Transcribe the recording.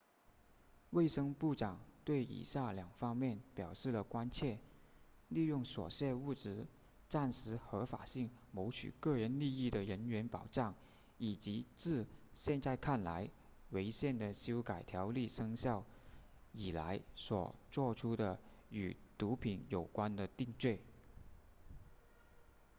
卫生部长对以下两方面表示了关切利用所涉物质暂时合法性谋取个人利益的人员保障以及自现在看来违宪的修改条例生效以来所作出的与毒品有关的定罪